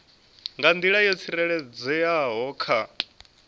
nga nḓila yo tsireledzeaho kha